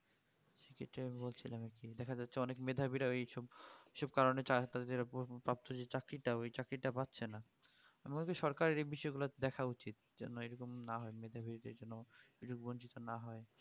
সেটাই আমি বলছিলাম এখনই এখানে তো অনেক মেধাবীরা এই সব কিছু কারণে দেড় উপর প্রাপ্ত যেই চাকরিটা ওই চাকরিটা পাচ্ছে না মোদী সরকারকে এই বিষয় গুলো দেখা উচিত যেন এই রকম না হয় যাতে বঞ্চিত না হয়